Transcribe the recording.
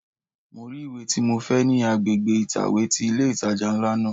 Mo rí ìwé tí mo fẹ́ ní agbègbè ìtàwé ti ilé ìtajà ńlá náà.